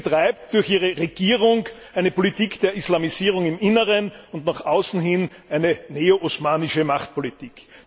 Sie betreibt durch ihre Regierung eine Politik der Islamisierung im Inneren und nach außen hin eine neo osmanische Machtpolitik.